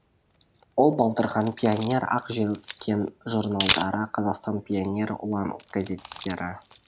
ол балдырған пионер ақ желкен журналдары қазақстан пионері ұлан газеттері